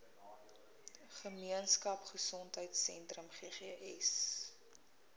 gemeenskap gesondheidsentrum ggs